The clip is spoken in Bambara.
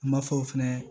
Ma fɔ fɛnɛ